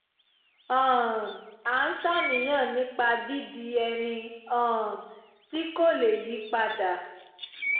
um a ń ṣàníyàn nípa dídi ẹni um tí kò lè yí padà